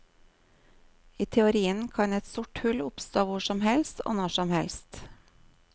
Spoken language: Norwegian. I teorien kan et sort hull oppstå hvor som helst og når som helst.